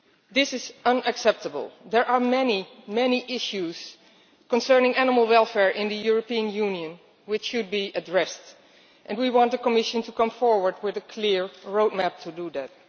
This is unacceptable. There are many issues concerning animal welfare in the European Union which should be addressed, and we want the Commission to come forward with a clear roadmap to do that.